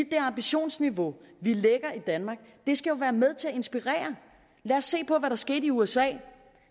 det ambitionsniveau vi lægger i danmark skal være med til at inspirere lad os se på hvad der skete i usa